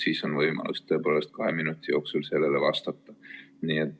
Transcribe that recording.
Siis on võimalus tõepoolest kahe minuti jooksul sellele vastata.